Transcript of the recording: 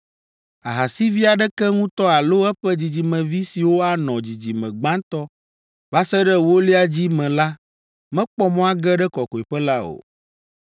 Ahasivi aɖeke ŋutɔ alo eƒe dzidzimevi siwo anɔ dzidzime gbãtɔ va se ɖe ewolia dzi me la mekpɔ mɔ age ɖe Kɔkɔeƒe la o.